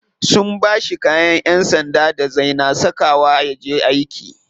Sun bashi kayan yan sanda da zai na saka wa yaje aiki.